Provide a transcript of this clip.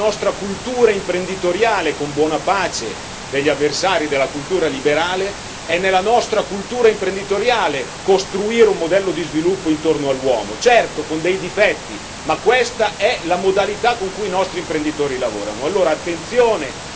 Lo ha fatto perché è nella nostra cultura imprenditoriale con buona pace degli avversari della cultura liberale costruire un modello di sviluppo intorno all'uomo, certo con dei difetti, ma questa è la modalità con cui i nostri imprenditori lavorano.